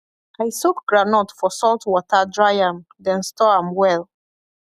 i soak groundnut for salt water dry am then store am well